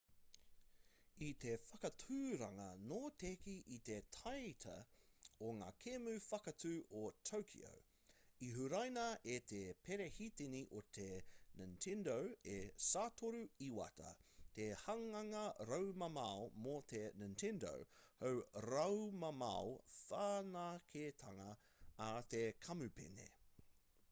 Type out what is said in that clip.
i te whakāturanga notekī i te taite o ngā kēmu whakātu o tokyo i huraina e te perehitini o te nintendo e satoru iwata te hanganga raumamao mō te nintendo hou raumamao whanaketanga a te kamupene